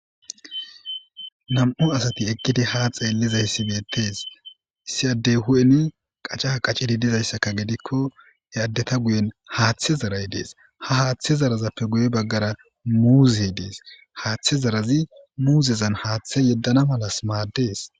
nam7u asati ekkidi ha xeellizayssi beettees issi addey hu7eni qaca qacidi dizayssaka gidikko e addeta guyen haaththe zaray dees ha haaththe zarazappe guye baggara muuzey dees haaththe zarazi muuzezan haaththe yeddana malas maaddees